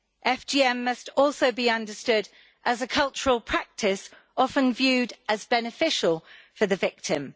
FGM must also be understood as a cultural practice often viewed as beneficial for the victim.